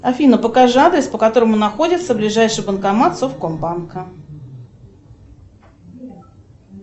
афина покажи адрес по которому находится ближайший банкомат совкомбанка